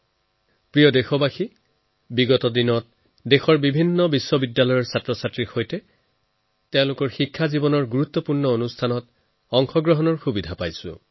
মোৰ প্ৰিয় দেশবাসী বিগত কেইটামান দিনত দেশৰ বিভিন্ন বিশ্ববিদ্যালয়ৰ শিক্ষাৰ্থীৰ সৈতে কথা পতাৰ লগতে তেওঁলোকৰ শিক্ষালাভৰ গুৰুত্ত্বপূৰ্ণ ঘটনাৰ অংশীদাৰ হোৱাৰ সুযোগ পালো